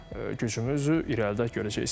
Gücümüzü irəlidə görəcəksiniz.